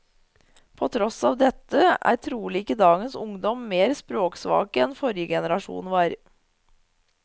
På tross av dette er trolig ikke dagens ungdom mer språksvake enn forrige generasjon var.